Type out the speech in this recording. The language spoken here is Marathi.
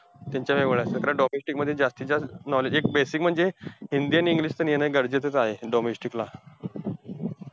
त्यांच्या एवढा domestic मध्ये जास्तीत जास्त knowledge एक, basic म्हणजे हिंदी आणि english तर येणं गरजेचंचं आहे. domestic ला.